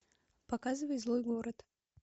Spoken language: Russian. показывай злой город